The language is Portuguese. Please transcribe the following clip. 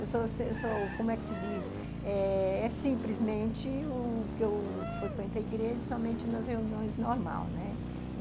Eu sou, como é que se diz, é simplesmente o que eu frequento a igreja somente nas reuniões normal, né?